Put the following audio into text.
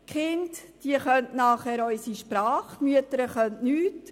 Die Kinder können danach unsere Sprache, die Mütter können nichts.